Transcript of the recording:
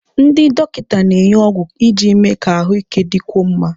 Ndị dọkịta na-enye ọgwụ iji mee ka ahụike dịkwuo mma.